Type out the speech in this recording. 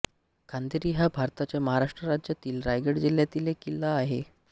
खांदेरी हा भारताच्या महाराष्ट्र राज्यातील रायगड जिल्ह्यातील एक किल्ला आहे